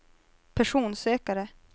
personsökare